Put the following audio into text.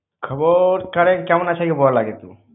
খবর ছারে, কেমন আছে আগে বল আগে তু।